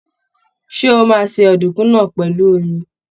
Ṣé o máa se ọ̀dùnkún náà pèlú omi?